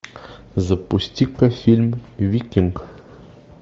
запусти ка фильм викинг